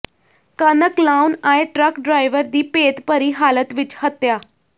ਕਣਕ ਲਾਹੁਣ ਆਏ ਟਰੱਕ ਡਰਾਈਵਰ ਦੀ ਭੇਤਭਰੀ ਹਾਲਤ ਵਿੱਚ ਹੱਤਿਆ